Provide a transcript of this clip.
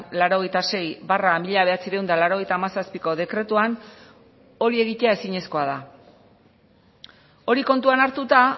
laurogeita sei barra mila bederatziehun eta laurogeita hamazazpiko dekretuan hori egitea ezinezkoa da hori kontuan hartuta